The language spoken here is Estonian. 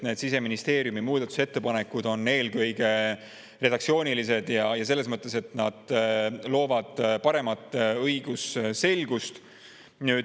Siseministeeriumi muudatusettepanekud on eelkõige redaktsioonilised ja loovad paremat õigusselgust.